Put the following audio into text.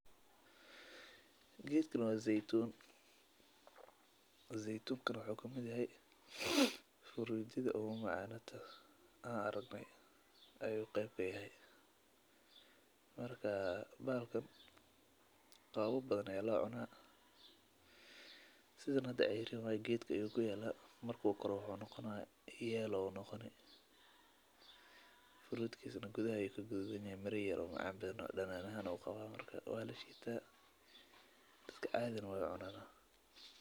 Gedkan waa zeitun zeitunkana wuxu kamiid yahay hurdadha ogu macan Haa an aragne ayu qab kamid yahay hada sithan geedka ayu kuyala furudkisana gudhahaayey ka gududan yihin mira macan badan danan ahan ayu qawa marka sithan arki hayo beera leyda waxee isticmalan hab casri ah oo beerista sitha aburka tahada.